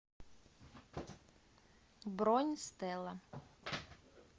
бронь стела